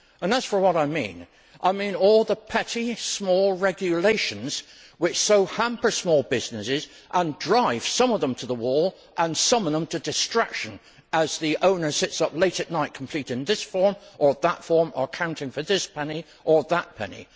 As for what I mean, I mean all the petty, small regulations which so hamper small businesses and drive some of them to the wall and some of them to distraction as the owner sits up late at night completing this form or that form or accounting for this penny or that penny.